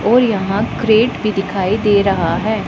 और यहां क्रेट भी दिखाई दे रहा है।